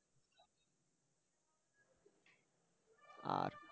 আর